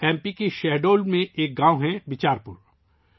M P کے شاہڈول میں ایک گاؤں ہے ، بیچار پور